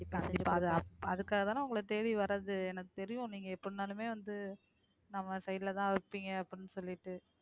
அதுக்காகதானே உங்களை தேடி வர்றது எனக்கு தெரியும் நீங்க எப்படினாலுமே வந்து நம்ம side லதான் இருப்பீங்க அப்படின்னு சொல்லிட்டு